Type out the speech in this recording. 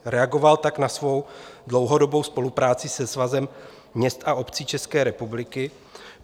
Reagoval tak na svou dlouhodobou spolupráci se Svazem měst a obcí České republiky.